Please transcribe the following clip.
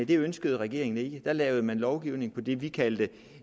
det ønskede regeringen ikke da lavede man lovgivningen på det vi kaldte